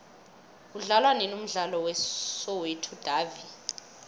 udlalwanini umdlalo we soweto davi